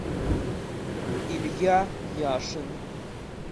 илья яшин